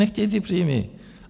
Nechtějí ty příjmy.